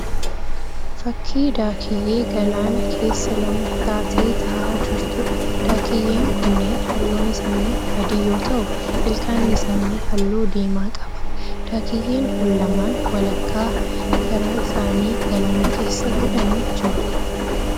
Fakkii Daakiyyee galaana keessa lama taatee ta'aa jirtuudha. Daakiyyee kunneen halluun isaanii adii yoo ta'u ilkaanni isaanii halluu diimaa qaba. Daakiyyeen kun lamaan walakkaa garaa isaanii galaana keessa godhanii jiru.